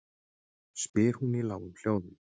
spyr hún í lágum hljóðum.